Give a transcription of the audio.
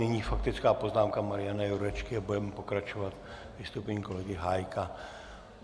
Nyní faktická poznámka Mariana Jurečky a budeme pokračovat vystoupením kolegy Hájka.